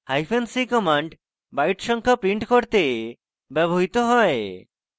hyphen c command byte সংখ্যা print করতে ব্যবহৃত হয়